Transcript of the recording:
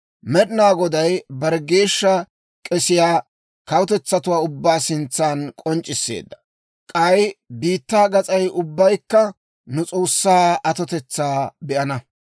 Med'inaa Goday bare geeshsha k'esiyaa kawutetsatuwaa ubbaa sintsan k'onc'c'isseedda; k'ay biittaa gas'ay ubbaykka nu S'oossaa atotetsaa be'ana.